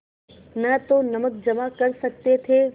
न तो नमक जमा कर सकते थे